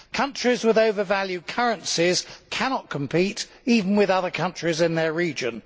Well, countries with overvalued currencies cannot compete even with other countries in their region.